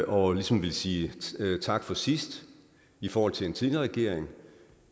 og ligesom vil sige tak for sidst i forhold til en tidligere regering